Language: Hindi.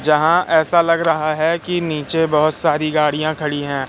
जहाँ ऐसा लग रहा है कि नीचे बहोत सारी गाड़ियाँ खड़ी हैं।